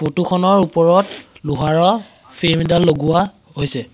ফটোখনৰ ওপৰত লোহাৰ ফ্ৰেম এডাল লগোৱা হৈছে।